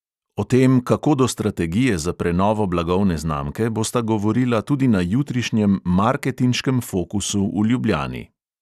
O tem, kako do strategije za prenovo blagovne znamke, bosta govorila tudi na jutrišnjem marketinškem fokusu v ljubljani.